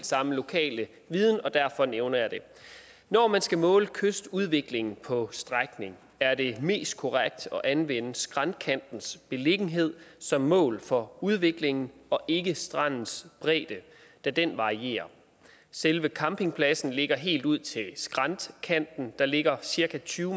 samme lokale viden og derfor nævner jeg det når man skal måle kystudviklingen på strækningen er det mest korrekt at anvende skræntkantens beliggenhed som mål for udviklingen og ikke strandens bredde da den varierer selve campingpladsen ligger helt ud til skræntkanten der ligger cirka tyve